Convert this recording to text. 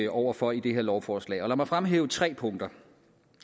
over for i det her lovforslag lad mig fremhæve tre punkter